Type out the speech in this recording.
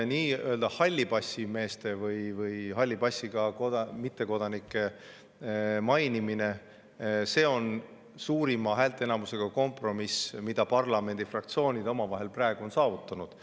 Nii-öelda hallipassimeeste või halli passiga mittekodanike mainimine on suurima häälteenamusega kompromiss, mille parlamendifraktsioonid on praegu omavahel saavutanud.